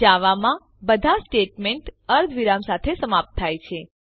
જાવામાં બધા સ્ટેટમેન્ટ અર્ધવિરામ સાથે સમાપ્ત થાય છે